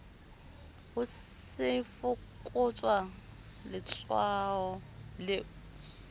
ho se fokotswe letshwao le